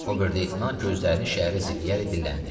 Ober leytenant gözlərini şəhərə zilləyərək dilləndi.